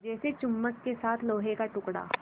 जैसे चुम्बक के साथ लोहे का टुकड़ा